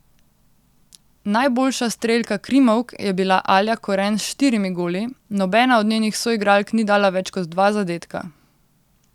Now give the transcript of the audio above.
Najboljša strelka krimovk je bila Alja Koren s štirimi goli, nobena od njenih soigralk ni dala več kot dva zadetka.